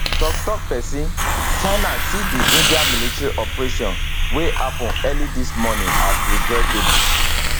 tok tok pesin china see di india military operation wey happun early dis morning as regrettable